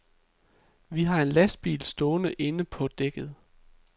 Vi har en lastbil stående inde på dækket.